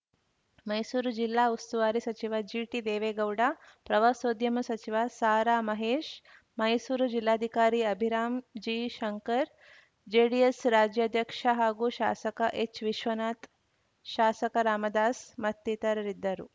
ಮೈಸೂರು ಜಿಲ್ಲಾ ಉಸ್ತುವಾರಿ ಸಚಿವ ಜಿಟಿ ದೇವೇಗೌಡ ಪ್ರವಾಸೋದ್ಯಮ ಸಚಿವ ಸಾರಾ ಮಹೇಶ್‌ ಮೈಸೂರು ಜಿಲ್ಲಾಧಿಕಾರಿ ಅಭಿರಾಮ್‌ ಜಿ ಶಂಕರ್‌ ಜೆಡಿಎಸ್‌ ರಾಜ್ಯಾಧ್ಯಕ್ಷ ಹಾಗೂ ಶಾಸಕ ಎಚ್‌ವಿಶ್ವನಾಥ್‌ ಶಾಸಕ ರಾಮದಾಸ್‌ ಮತ್ತಿತರರಿದ್ದರು